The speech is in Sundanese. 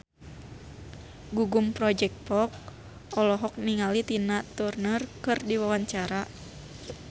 Gugum Project Pop olohok ningali Tina Turner keur diwawancara